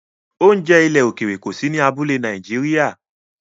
Oúnjẹ ilẹ̀ òkèèrè kò sí ní abúlé Nàìjíríà